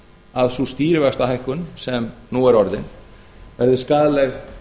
að sú stýrivaxtahækkun sem nú er orðin sé skaðleg